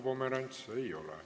Küsimusi ei ole.